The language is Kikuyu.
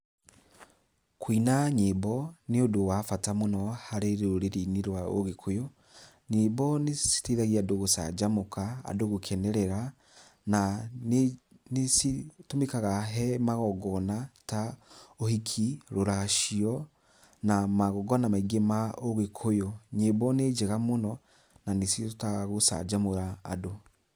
Kũina nyĩmbo nĩ ũndũ wa bata mũno harĩ rũrĩrĩ-inĩ rwa ũgĩkũyũ, nyĩmbo nĩ citeithagia andũ gũcanjamuka, andũ gũkenerera na nĩ citũmĩkaga he magongona ta ũhiki, rũracio na magongona maingĩ ma ũgĩkũyũ. Nyĩmbo nĩ njega mũno na nĩcihotaga gucanjamũra andũ.